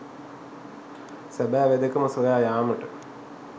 සැබෑ වෙදකම සොයා යාමට